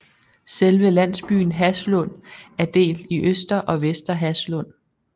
Selve landsbyen Haslund er delt i Øster og Vester Haslund